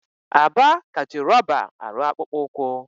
Aba ka ji rọba arụ akpụkpọ ụkwụ.